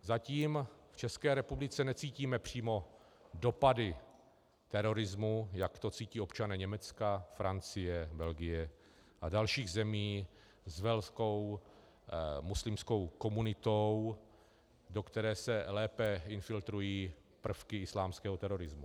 Zatím v České republice necítíme přímo dopady terorismu, jak to cítí občané Německa, Francie, Belgie a dalších zemí s velkou muslimskou komunitou, do které se lépe infiltrují prvky islámského terorismu.